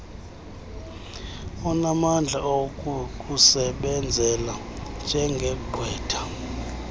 onamandla okukusebenzela njengegqwetha